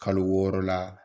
Kalo wɔɔrɔ la